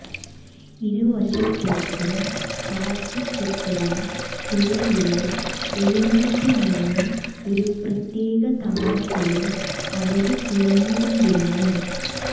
ഇരുവശത്തേക്കും താഴ്ത്തിക്കെട്ടിയ തുഴയില് എഴുന്നേറ്റുനിന്ന് ഒരു പ്രത്യേക താളത്തില് അവര് തുഴഞ്ഞുകൊണ്ടിരുന്നു